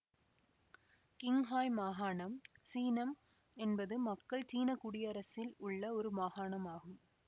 Qinghai மாகாணம் சீனம் என்பது மக்கள் சீன குடியரசில் உள்ள ஒரு மாகாணம் ஆகும்